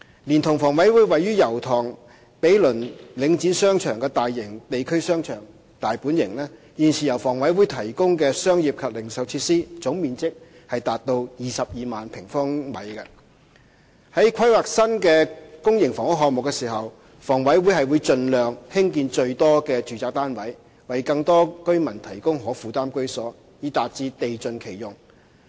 連同房委會位於油塘毗鄰領展商場的大型地區商場"大本型"，現時由房委會提供的商業及零售設施總面積達到22萬平方米。在規劃新的公營房屋項目時，房委會會盡量興建最多的住宅單位，為更多居民提供可負擔居所，以達致地盡其用。